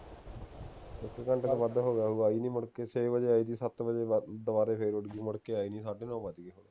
ਇਕ ਘੰਟੇ ਤੋਂ ਵੱਧ ਹੋ ਗਿਆ ਹੋਊਗਾ ਆਈ ਨਹੀਂ ਮੁੜਕੇ ਛੇ ਵਜੇ ਆਈ ਸੀ ਸੱਤ ਵਜੇ ਦੁਵਾ ਦੁਵਾਰੇ ਫੇਰ ਉੱਡ ਗਈ ਮੁੜਕੇ ਆਈ ਨਹੀਂ ਸਾਢੇ ਨੋ ਵੱਜ ਗਏ